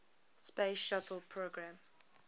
space shuttle program